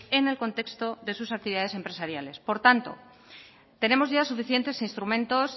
en el contexto de sus actividades empresariales por tanto tenemos ya suficientes instrumentos